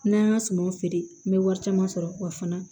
N'an ka sumaw feere n bɛ wari caman sɔrɔ wa fana